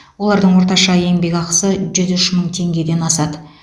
олардың орташа еңбекақысы жүз үш мың теңгеден асады